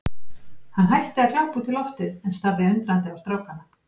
Hann hætti að glápa út í loftið en starði undrandi á strákana.